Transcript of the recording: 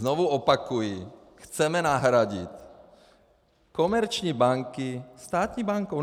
Znovu opakuji - chceme nahradit komerční banky státní bankou.